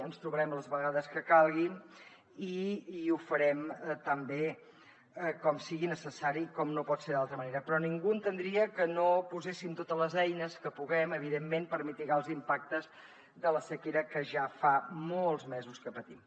ens trobarem les vegades que calguin i ho farem tan bé com sigui necessari com no pot ser d’altra manera però ningú entendria que no poséssim totes les eines que puguem evidentment per mitigar els impactes de la sequera que ja fa molts mesos que patim